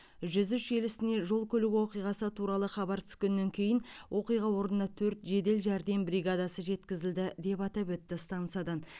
жүз үш желісіне жол көлік оқиғасы туралы хабар түскеннен кейін оқиға орнына төрт жедел жәрдем бригадасы жеткізілді деп атап өтті стансадан